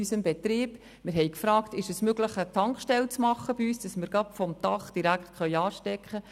Wir haben gefragt, ob es möglich sei, bei uns eine Tankstelle einzurichten, die wir direkt über das Dach anschliessen können.